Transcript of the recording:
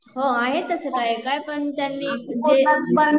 हो आहे तसे काही काही तरी पण